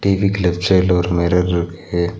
டி_விக்கு left சைடுல ஒரு mirror ருக்ஹே.